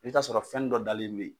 I bɛ t'a sɔrɔ fɛn nin dɔ dalen bɛ yen